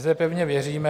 Zde pevně věříme...